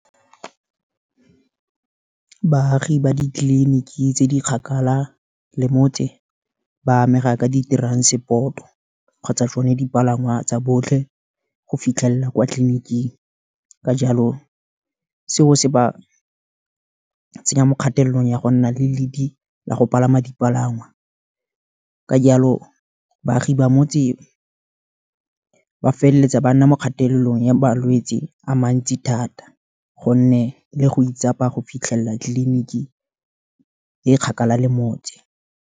Baagi ba ditleliniki tse di kgakala, le motse, ba amega ka di-transport-o kgotsa tsone dipalangwa tsa botlhe, go fitlhelela kwa tleliniking, ka jalo seo se ba tsenya mo kgatelelong, ya go nna le ledi la go palama dipalangwa, ka jalo baagi ba motse, ba feleletsa ba nna mo kgatelelong ya balwetsi a mantsi thata, gonne le go itsapa go fitlhelela tliliniki e kgakala le motse.